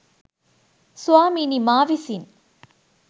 ස්වාමීනී මා විසින්